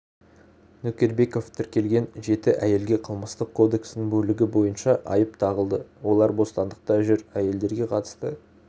нөкербеков тіркелген жеті әйелге қылмыстық кодекстің бөлігі бойынша айып тағылды олар бостандықта жүр әйелдерге қатысты